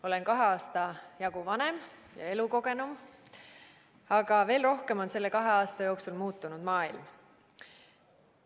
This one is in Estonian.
Olen kahe aasta jagu vanem ja elukogenum, aga veel rohkem on selle kahe aasta jooksul muutunud maailm.